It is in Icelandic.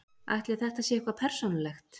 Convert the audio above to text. Ætli þetta sé eitthvað persónulegt?